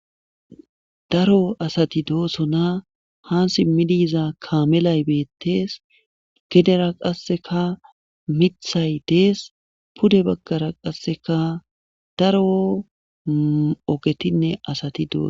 Daro asati doosona han simmi diiza kamelay beettees gedera qasseka mithay dees pude baggara qasseka daro ogetinne asati dooso.